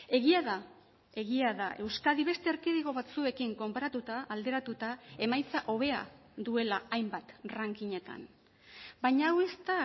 egia da egia da euskadi beste erkidego batzuekin konparatuta alderatuta emaitza hobea duela hainbat rankingetan baina hau ez da